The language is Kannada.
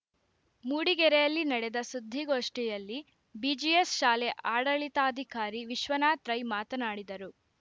ಮೂಡಿಗೆರೆಯಲ್ಲಿ ನಡೆದ ಸುದ್ದಿಗೋಷ್ಠಿಯಲ್ಲಿ ಬಿಜಿಎಸ್‌ ಶಾಲೆ ಆಡಳಿತಾಧಿಕಾರಿ ವಿಶ್ವನಾಥ್‌ ರೈ ಮಾತನಾಡಿದರು